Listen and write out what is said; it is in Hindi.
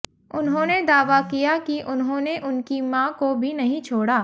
उन्होंने दावा किया कि उन्होंने उनकी मां को भी नहीं छोड़ा